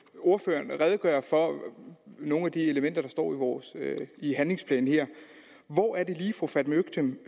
ordføreren redegøre for nogle af de elementer der står i handlingsplanen her hvor er det lige at fru fatma øktem